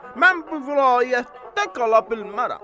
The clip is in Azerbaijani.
Mən bu vilayətdə qala bilmərəm.